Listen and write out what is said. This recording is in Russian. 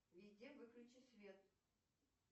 везде выключи свет